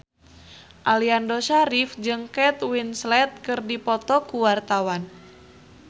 Aliando Syarif jeung Kate Winslet keur dipoto ku wartawan